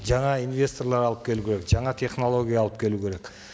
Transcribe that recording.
жаңа инвесторлар алып келу керек жаңа технология алып келу керек